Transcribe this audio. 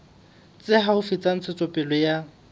tse haufi tsa ntshetsopele ya